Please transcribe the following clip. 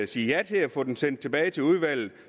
sige ja til at få det sendt tilbage til udvalget